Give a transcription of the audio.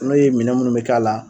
N'o ye minɛn minnu be k'a la